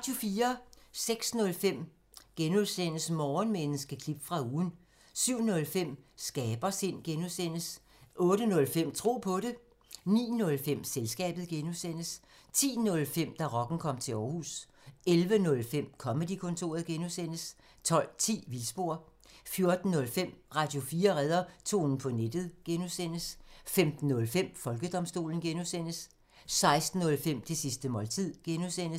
06:05: Morgenmenneske – klip fra ugen (G) 07:05: Skabersind (G) 08:05: Tro på det 09:05: Selskabet (G) 10:05: Da rocken kom til Aarhus 11:05: Comedy-kontoret (G) 12:10: Vildspor 14:05: Radio4 redder tonen på nettet (G) 15:05: Folkedomstolen (G) 16:05: Det sidste måltid (G)